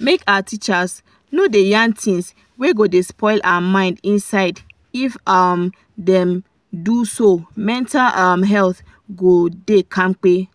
make our teachers no da yan things wey go da spoil person mind inside if um dem do so mental um health go da kampe